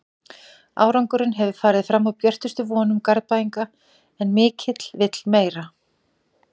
Árangurinn hefur farið fram úr björtustu vonum Garðbæinga en mikill vill meira.